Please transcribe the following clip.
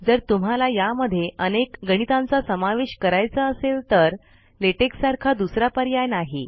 जर तुम्हाला यामध्ये अनेक गणितांचा समावेश करायचा असेल तर लेटेक सारखा दुसरा पर्याय नाही